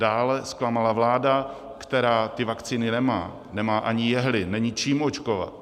Dále zklamala vláda, která ty vakcíny nemá, nemá ani jehly, není čím očkovat.